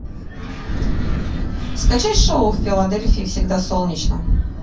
скачай шоу в филадельфии всегда солнечно